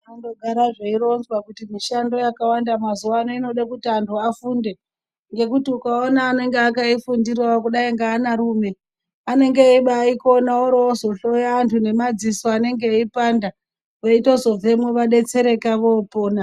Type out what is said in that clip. Zvinondogara zveironzwa kuti mishando yakawanda mazuvano inode kuti anhu afunde. Ngekuti ukaona anenge akaifundirawo kudai ngeanarume, anenge eibaiikona, oorozohloya antu ngemadziso anenge eipanda, veitozobvemwo vadetsereka voopona.